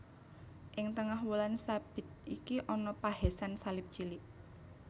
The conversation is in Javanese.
Ing tengah wulan sabit iki ana pahésan salib cilik